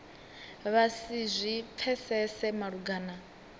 vha si zwi pfesese malugana